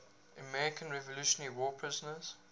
american revolutionary war prisoners